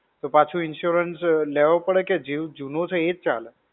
તો પાછો insurance લેવો પડે કે જૂનો છે એ જ ચાલે?